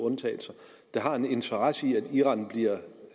der har en interesse i at iran bliver en